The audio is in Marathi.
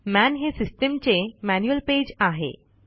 मन हे सिस्टीमचे मॅन्युअल पेज आहे